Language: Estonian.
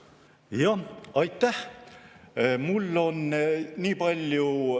Jah, aitäh!